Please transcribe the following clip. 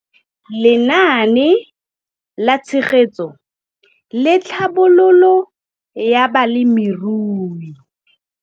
Lenaane la Tshegetso le Tlhabololo ya Balemirui.